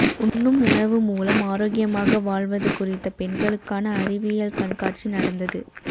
உண்ணும் உணவு மூலம் ஆரோக்கியமாக வாழ்வது குறித்த பெண்களுக்கான அறிவியல் கண்காட்சி நடந்தது